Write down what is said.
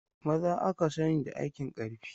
Maza aka sani da aikin ƙarfi.